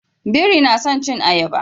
Biri na son cin ayaba